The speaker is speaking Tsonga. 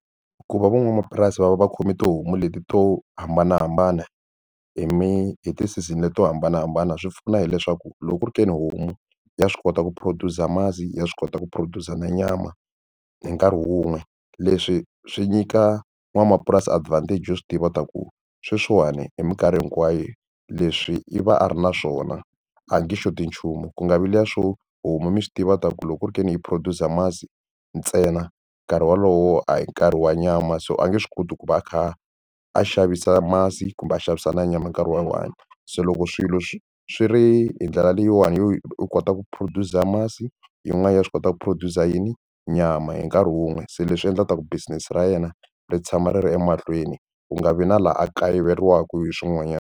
Ku va van'wamapurasi va va vakhomi tihomu leti to hambanahambana hi hi ti season leti to hambanahambana swi pfuna hileswaku loko ku ri ka ni homu ya swi kota ku produce masi ya swi kota ku produce nyama hi nkarhi wun'we leswi swi nyika nwanamapurasi advantage yo swi tiva ta ku sweswiwani hi mikarhi hinkwayo leswi i va a ri na swona a nge xoti nchumu ku nga vi liya swo huma mi swi tiva ku loko ku ri ka ni yi produce masi ntsena nkarhi wolowo a hi nkarhi wa nyama so a nge swi koti ku va a kha a a xavisa masi kumbe a xavisa na nyama nkarhi wa one se loko swilo swi swi ri hi ndlela leyiwani u kota ku produce a masi yin'wana ya swi kota ku produce yini nyama hi nkarhi wun'we se leswi endlaka ku business ra yena ri tshama ri ri emahlweni ku nga vi na laha a kayiveriwa hi swin'wanyani.